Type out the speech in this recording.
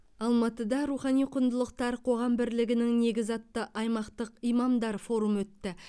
алматыда рухани құндылықтар қоғам бірлігінің негізі атты аймақтық имамдар форумы өтті